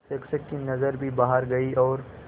शिक्षक की नज़र भी बाहर गई और